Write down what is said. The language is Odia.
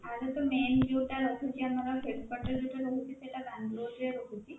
ୟା ର ତ main ଯୋଉଟା ରହୁଛି ଆମର headquarter ଯୋଉଟା ରହୁଛି ସେଇଟା କାନପୁର ରହୁଛି